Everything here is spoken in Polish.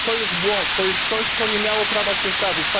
To jest błąd, to jest coś, co nie miało prawa się zdarzyć.